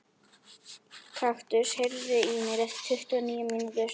Kaktus, heyrðu í mér eftir tuttugu og níu mínútur.